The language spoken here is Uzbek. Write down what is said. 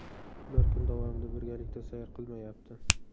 Ular kun davomida birgalikda sayr qilmayapti.